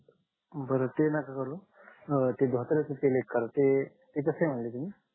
बर ते नोका करू ते धोत्र्याच तेल एक करा ते कसे म्हणले तुम्ही